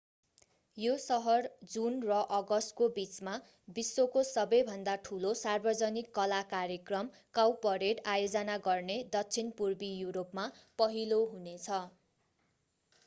यो सहर जुन र अगस्तको बिचमा विश्वको सबैभन्दा ठूलो सार्वजनिक कला कार्यक्रम काउपरेड आयोजना गर्ने दक्षिण पूर्वी यूरोपमा पहिलो हुनेछ